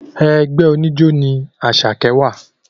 Ẹgbẹ́ oníjó ní Àṣàkẹ́ wà